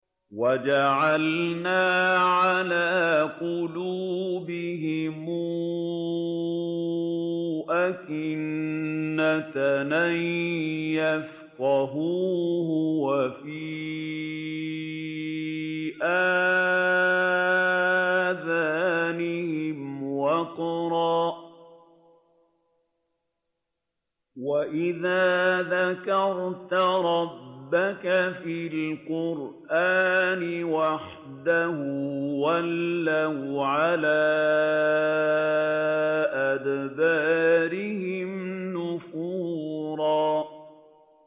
وَجَعَلْنَا عَلَىٰ قُلُوبِهِمْ أَكِنَّةً أَن يَفْقَهُوهُ وَفِي آذَانِهِمْ وَقْرًا ۚ وَإِذَا ذَكَرْتَ رَبَّكَ فِي الْقُرْآنِ وَحْدَهُ وَلَّوْا عَلَىٰ أَدْبَارِهِمْ نُفُورًا